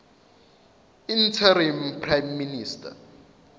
interim prime minister